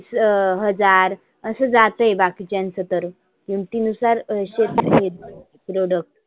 अं हजार असं जाते बाकिच्यांचे तर किमती नुसार शेतकरी product